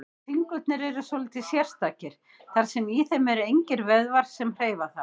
En fingurnir eru svolítið sérstakir, þar sem í þeim eru engir vöðvar sem hreyfa þá.